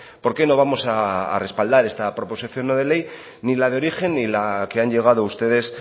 porqué no vamos a respaldar esta proposición no de ley ni la de origen ni la que han llegado ustedes